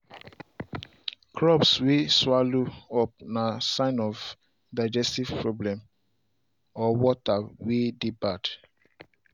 crops way swallow up na sign of digestive problem or water way dey bad.